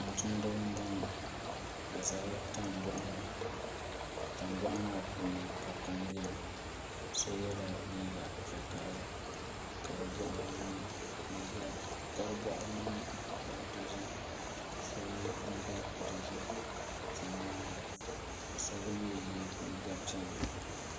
Tumtumdiba n boŋo bi ʒɛla tandoɣu ni tandoɣu maa puuni ka kom biɛni so yɛla liiga vakaɣali ka di boɣari niŋ zaɣ dozim ka so yɛ liiga dozim ka ʒɛ nyaanga ka so gba mii yɛ liiga piɛlli